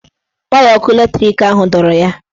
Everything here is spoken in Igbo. Waya ọkụ latrik ahụ dọrọ ya.